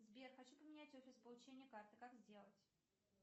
сбер хочу поменять офис получения карты как сделать